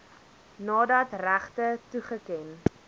nadat regte toegeken